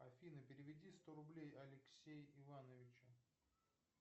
афина переведи сто рублей алексей ивановичу